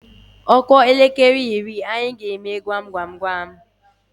Ọ kụọ elekere iri, anyị emee gwam gwam gwam.